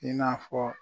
I n'a fɔ